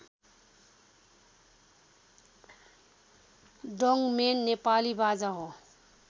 डोङमेन नेपाली बाजा हो